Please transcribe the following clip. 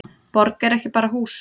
Borg er ekki bara hús.